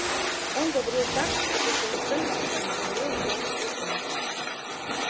он говорил так как ещё никто никогда не говорил с белым клыком